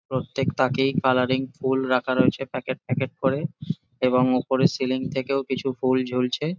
প্রত্যেক তাকেই কালারিং ফুল রাখা রয়েছে প্যাকেট প্যাকেট করে এবং ওপরে সিলিং থেকেও কিছু ফুল ঝুলছে।